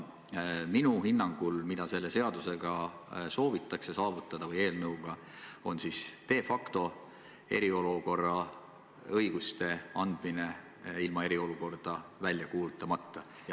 Minu hinnangul on see, mida selle seaduse või eelnõuga saavutada soovitakse, de facto eriolukorra õiguste andmine ilma eriolukorda välja kuulutamata.